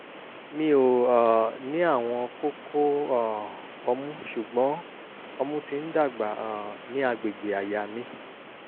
mi ò um ní àwọn kókó um ọmú ṣùgbọ́n ọmú ti ń dàgbà um ní àgbègbè àyà mi